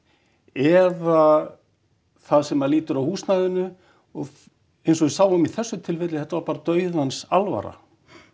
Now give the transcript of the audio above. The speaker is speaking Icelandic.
eða það sem lýtur að húsnæðinu og eins og við sáum í þessu tilfelli þetta var bara dauðans alvara